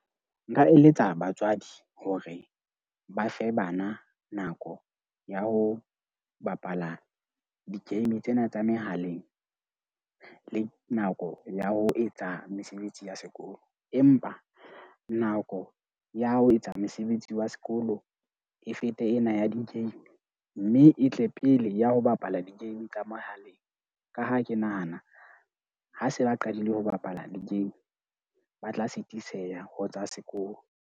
Nka eletsa batswadi hore ba fe bana nako ya ho bapala di-game tsena tsa mehaleng le nako ya ho etsa mesebetsi ya sekolo, empa nako ya ho etsa mosebetsi wa sekolo e fete ena ya di-game. Mme e tle pele ya ho bapala di-game tsa mohaleng, ka ha ke nahana ha se ba qadile ho bapala di-game, ba tla sitiseha ho tsa sekolo.